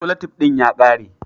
Solatif din ya ƙare.